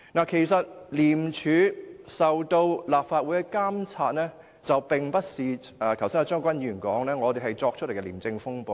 其實，廉署受立法會監察，並非一如張國鈞議員所說般，是我們捏造出來的"廉署風暴"。